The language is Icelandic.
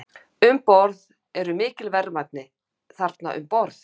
Haukur: Um borð, eru mikil verðmæti þarna um borð?